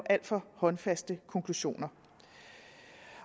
alt for håndfaste konklusioner